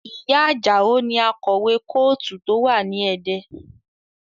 Ìyá Ajao ni akọ̀wé kọ́ọ̀tù tó wà ní Ẹdẹ